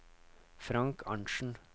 Frank Arntzen